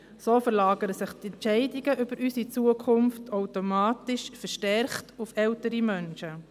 So verlagern sich die Entscheidungen über unsere Zukunft automatisch verstärkt auf ältere Menschen.